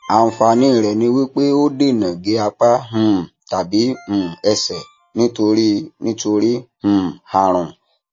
àǹfààní rẹ ni pé ó dènà gé apá um tàbí um ẹsẹ nítorí nítorí um àrùn